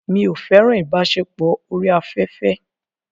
Mi ò fẹ́ràn ìbáṣepọ̀ orí afẹ́fẹ́.